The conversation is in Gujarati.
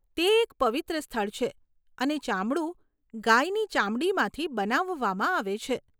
તે એક પવિત્ર સ્થળ છે અને ચામડું ગાયની ચામડીમાંથી બનાવવામાં આવે છે.